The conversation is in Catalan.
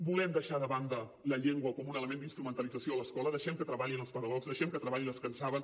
volem deixar de banda la llengua com un element d’instrumentalització a l’escola deixem que treballin els pedagogs deixem que treballin els que en saben